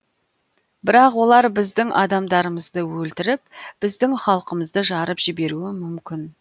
бірақ олар біздің адамдарымызды өлтіріп біздің халқымызды жарып жіберуі мүмкін